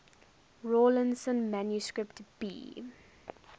rawlinson manuscript b